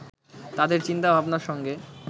তাদের চিন্তাভাবনার সঙ্গে